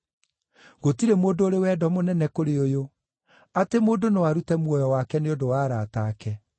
Gũtirĩ mũndũ ũrĩ wendo mũnene kũrĩ ũyũ, atĩ mũndũ no arute muoyo wake nĩ ũndũ wa arata ake.